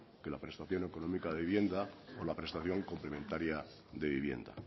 que la prestación económica de vivienda o la prestación complementaria de vivienda